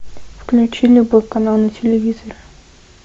включи любой канал на телевизоре